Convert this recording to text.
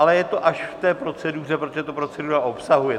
Ale je to až v té proceduře, protože to procedura obsahuje.